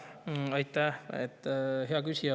Aitäh, hea küsija!